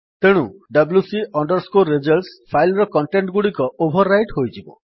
ତେଣୁ wc results file ର content ଗୁଡିକ ଓଭର୍ ରାଇଟ୍ ହୋଇଯିବ